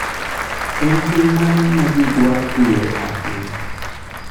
En piny mane ma ji dwaro dhie ahinya?